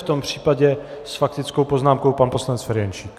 V tom případě s faktickou poznámkou pan poslanec Ferjenčík.